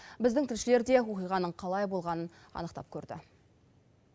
біздің тілшілер де оқиғаның қалай болғанын анықтап көрді